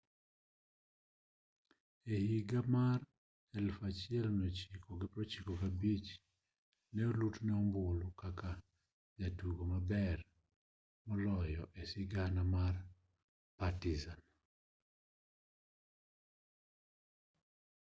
e higa mar 1995 ne olutne ombulu kaka jatugo maber moloyo e sigana mar partizan